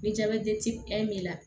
Ni b'i la